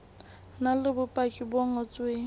na le bopaki bo ngotsweng